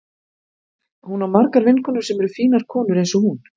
Hún á margar vinkonur sem eru fínar konur eins og hún.